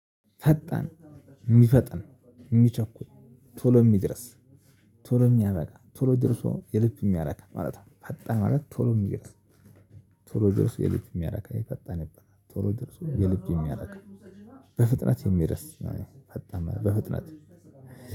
ፈጣን ሚፈጥን ሚቸኩል ቶሎ የሚደርስ ቶሎ የሚያበቃ ቶሎ ደርሶ የልብ የሚያረካ ማለት ነው። ፈጣን ማለት ቶሎ ሚደርስ። ቶሎ ደርሶ የልብ የሚያረካ የፈጣን ይበላል። ቶሎ ደርሶ የልብ የሚያደርግ በፍጥነት የሚርስ ነው። የፈጣን በፍጥነት